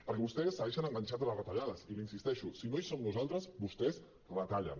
perquè vostès segueixen enganxats a les retallades i hi insisteixo si no hi som nosaltres vostès retallen